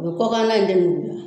kɔ k'an na in tɛ nuguyan